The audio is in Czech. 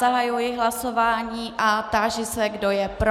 Zahajuji hlasování a táži se, kdo je pro.